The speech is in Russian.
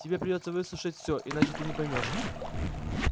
тебе придётся выслушать всё иначе ты не поймёшь